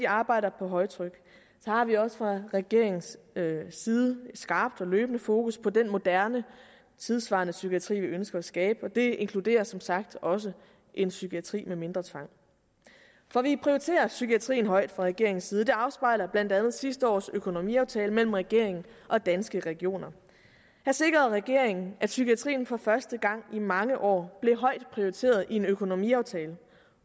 arbejder på højtryk så har vi også fra regeringens side et skarpt og løbende fokus på den moderne tidssvarende psykiatri vi ønsker at skabe det inkluderer som sagt også en psykiatri med mindre tvang for vi prioriterer psykiatrien højt fra regeringens side det afspejler blandt andet sidste års økonomiaftale mellem regeringen og danske regioner her sikrede regeringen at psykiatrien for første gang i mange år blev højt prioriteret i en økonomiaftale